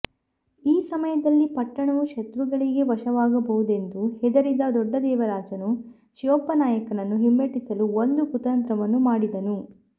ಈ ಸಮಯದಲ್ಲಿ ಪಟ್ಟಣವು ಶತ್ರುಗಳಿಗೆ ವಶವಾಗುವುದೆಂದು ಹೆದರಿದ ದೊಡ್ಡ ದೇವರಾಜನು ಶಿವಪ್ಪನಾಯಕನನ್ನು ಹಿಮ್ಮೆಟ್ಟಿಸಲು ಒಂದು ಕುತಂತ್ರವನ್ನು ಮಾಡಿದನು